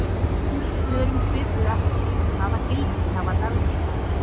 Önnur svör um svipuð efni: Hvaða gildi hafa dagdraumar?